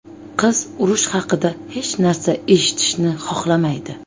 Qiz urush haqida hech narsa eshitishni xohlamaydi.